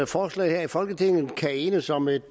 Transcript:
forslag her i folketinget kan enes om et